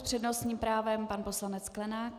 S přednostním právem pan poslanec Sklenák.